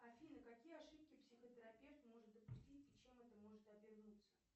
афина какие ошибки психотерапевт может допустить и чем это может обернуться